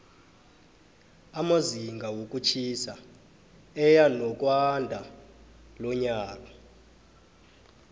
amazinga wokutjhisa eyanokwandalonyaka